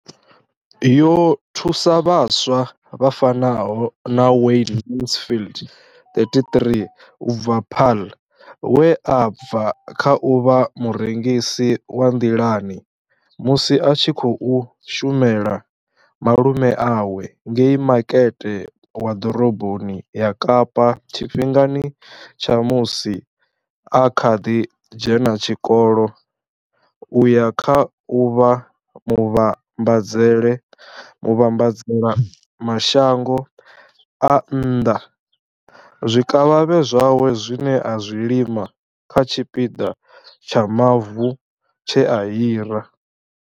Yo thusa vhaswa vha fanaho na Wayne Mansfield, 33, u bva Paarl, we a bva kha u vha murengisi wa nḓilani musi a tshi khou shumela malume awe ngei Makete wa ḓoroboni ya Kapa tshifhingani tsha musi a kha ḓi dzhena tshikolo u ya kha u vha muvhambadzela mashango a nnḓa zwikavhavhe zwawe zwine a zwi lima kha tshipiḓa tsha mavu tshe a hira.